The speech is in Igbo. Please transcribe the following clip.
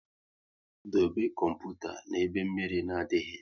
Dobe kọmputa na ebe mmiri na adịghị